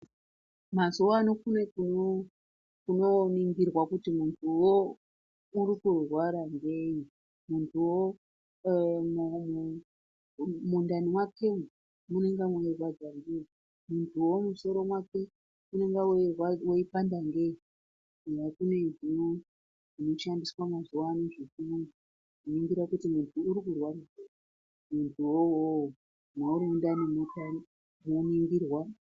Mazuwa ano kune kunondoningirwa kuti muntuwo uri kurwara ngei , muntuwo eee mundami mwakemo munenge meirwadza ngei, muntuwo musoro mwake unenge weipanda ngei kunenge kune zvinoshandiswa mazuwa anawa zvekuningira kuti muntu uri kurwara ngei muntuwo iwowo kana muri mundani moningirwa